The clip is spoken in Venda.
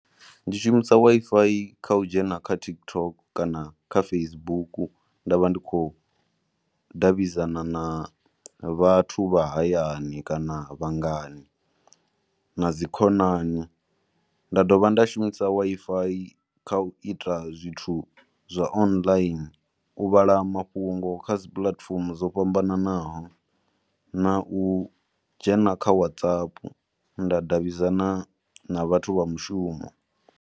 Ndi shumisa Wi-Fi kha u dzhena kho TikTok kana kha Facebook nda vha ndi khou davhidzana na vhathu vha hayani kana vhangana na dzi khonani. Nda dovha nda shumisa Wi-Fi kha u ita zwithu zwa online, u vhala mafhungo kha dzi puḽatifomo dzo fhambananaho na u dzhena kha WhatsApp nda davhidzana na vhathu vha mushumo.